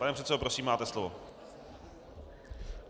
Pane předsedo, prosím, máte slovo.